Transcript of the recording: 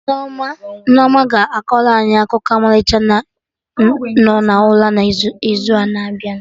Nneoma ga-akọrọ anyị akụkụ ọmalịcha nọ n'ụra na'izu na-abịa